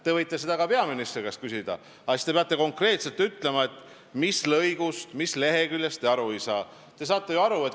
Te võite seda ka peaministri käest küsida, aga siis te peate konkreetselt ütlema, mis lõigust, mis leheküljest te aru ei saa.